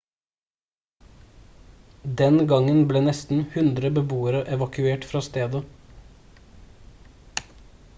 den gangen ble nesten 100 beboere evakuert fra stedet